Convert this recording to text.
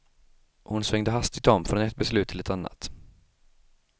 Hon svängde hastigt om från ett beslut till ett annat.